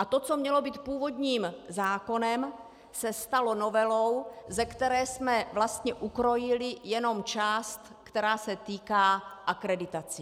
A to, co mělo být původním zákonem, se stalo novelou, ze které jsme vlastně ukrojili jenom část, která se týká akreditací.